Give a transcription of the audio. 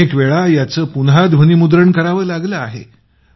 किती वेळा याचं पुन्हा ध्वनीमुद्रण करावं लागलं आहे